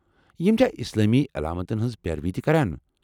یِم چھا اسلامی علامتن ہٕنٛز پیروی تہِ کران؟